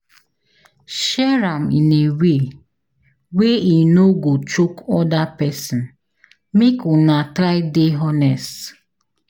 Share am in a way way e no go choke other persin, make Una try de honest